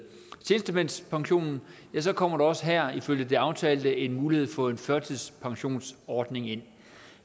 tjenestemandspensionen kommer der også her ifølge det aftalte en mulighed få en førtidspensionsordning ind